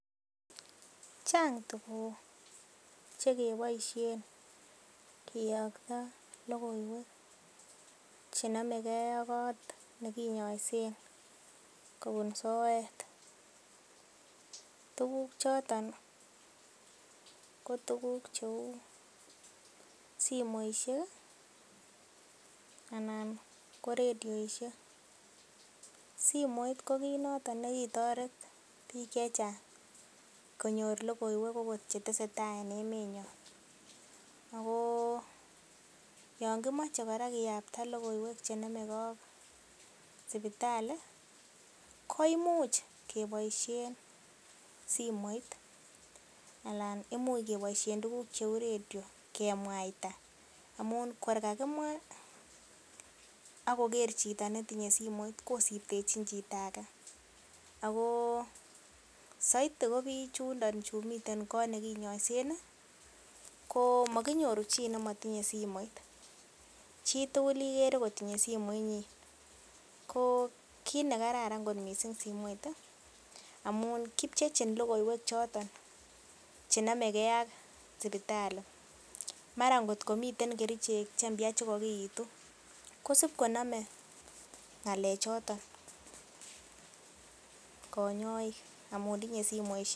Chang tuguk che keboisien kiyokto logoiywek che nomege ak koot ne kinyoisen kobun soet. Tuguk choton kotuk cheu simoishek anan koradioishek. Simoit kokit noton nekitoret biik ch chang konyor logoiywek agot che tesetai en emenyon. Ago yon kimoche kora kiyapta logoiwek che nomege ak sipitali koimuch keboisien simoit alan imuch keboisien tugugk cheu radio kemwaita amun korkakimwa ak koger chito netinye simoit kosibtechin chito age. Ago soiti ko biik chundo chumiten koot ne kinyoisen komakinyoru chi nematinye simoit. Chituguligere kotinye simoinyin. Ko kit ne kararan kot mising simoit amun kipchechin logoiywek choton che nomege ak sipitali. Mara ngotko miten kerichek che mpya che kogiitu kosib konome ng'alechoton konyoik amun tinye simoishek.